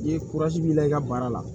I ye b'i la i ka baara la